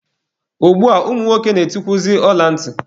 Ugbua, ụmụ nwoke na-eyikwuzi ọla ntị.